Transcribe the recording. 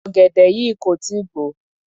Ọ̀gẹ̀dẹ̀ yìí kò tí ì gbò ó.